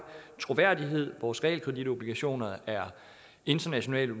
troværdighed vores realkreditobligationer er internationalt